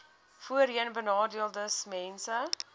voorheenbenadeeldesmense